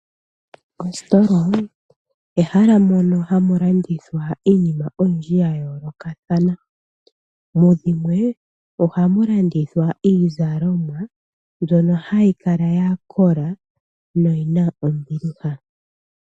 Oositola ehala mono hamu landithwa iinima yindji ya yoolokathana, mudhimwe ohamu landithwa iizalomwa, mbyono hayi kala ya kola, noyina ombiliha.